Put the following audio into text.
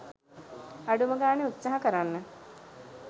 අඩුම ගානේ උත්සහ කරන්න